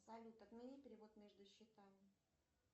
салют отмени перевод между счетами